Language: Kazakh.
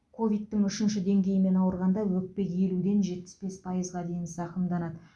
ковидтің үшінші деңгейімен ауырғанда өкпе елуден жетпіс бес пайызға дейін зақымданады